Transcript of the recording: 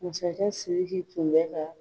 Masakɛ siriki tun bɛ ka